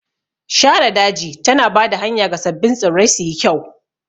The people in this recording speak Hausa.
Shara daji tana ba da hanya ga sabbin tsirrai suyi kyau.